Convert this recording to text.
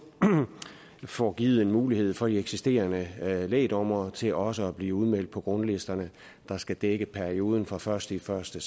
får givet en mulighed for de eksisterende lægdommere til også at blive udmeldt på grundlisterne der skal dække perioden fra første første